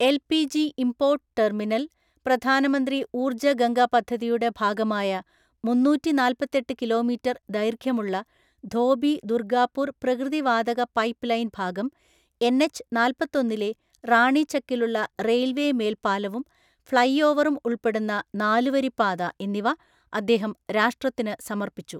LPG import terminal, പ്രധാനമന്ത്രി ഊർജ്ജ ഗംഗ പദ്ധതിയുടെ ഭാഗമായ മുന്നൂറ്റിനാല്‍പ്പത്തെട്ട് കിലോമീറ്റർ ദൈർഘ്യമുള്ള ധോബി ദുർഗാപൂർ പ്രകൃതി വാതക പൈപ്പ് ലൈൻ ഭാഗം, എൻഎച്ച് നാല്‍പ്പത്തൊന്നിലെ റാണിചക്കിലുള്ള റെയിൽവേ മേൽപ്പാലവും, ഫ്ലൈഓവറും ഉൾപ്പെടുന്ന നാലുവരിപ്പാത എന്നിവ അദ്ദേഹം രാഷ്ട്രത്തിന് സമർപ്പിച്ചു.